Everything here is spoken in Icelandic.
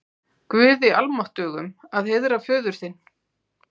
Guði almáttugum að heiðra föður þinn?